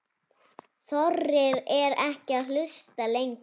Þorir ekki að hlusta lengur.